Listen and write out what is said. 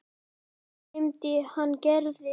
Um nóttina dreymdi hann Gerði.